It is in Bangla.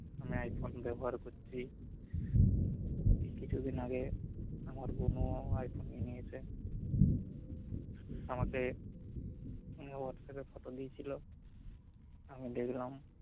আমি আইফোন ব্যবহার করছি কিছুদিন আগে আমার বোনও আইফোন নিয়ে নিয়েছে আমাকে এই অবস্থাতে কত দিয়েছিলো আমি দেখলাম